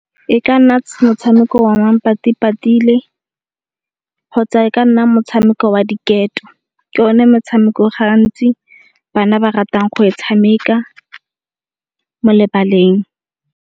E ka nna motshameko wa manpati-patile kgotsa e ka nna motshameko wa diketo. Ke yone motshameko gantsi bana ba ratang go e tshameka mo lebaleng.